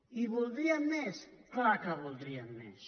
i en voldríem més clar que en voldríem més